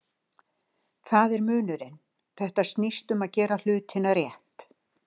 Þar er munurinn, þetta snýst um að gera hlutina rétt.